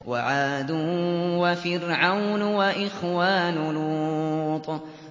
وَعَادٌ وَفِرْعَوْنُ وَإِخْوَانُ لُوطٍ